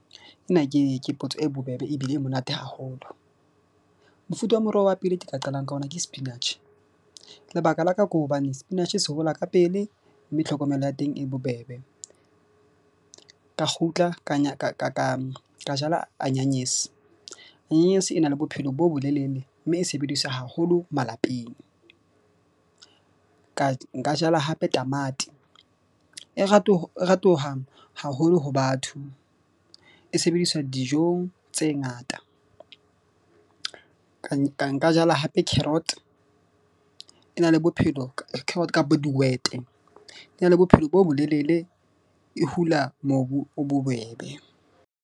Ena ke potso e bobebe ebile e monate haholo. Mofuta wa moroho wa pele ke ka qalang ka ona, ke sepinatjhe lebaka la ka ke hobane sepinatjhe se hola ka pele. Mme tlhokomelo ya teng e bobebe. Ka kgutla ka jala anyanese, anyanese e na le bophelo bo bolelele mme e sebediswa haholo malapeng, ka nka jala hape tamati e haholo ho batho. E sebediswa dijong tse ngata ka nka jala hape carrot, e na le bophelo carrot kapo dihwete e na le bophelo bo bo lelele, e hula mobu o bobebe.